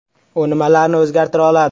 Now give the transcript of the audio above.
U nimalarni o‘zgartira oladi?